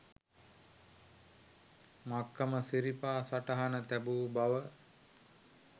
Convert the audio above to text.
මක්කම සිරිපා සටහන තැබූ බව